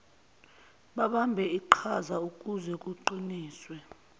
babambe iqhazaukuze kuqiniswe